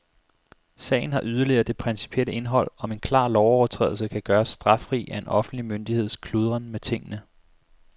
Sagen har yderligere det principielle indhold, om en klar lovovertrædelse kan gøres straffri af en offentlig myndigheds kludren med tingene.